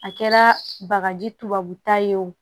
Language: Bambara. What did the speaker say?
A kɛra bagaji tubabuta ye o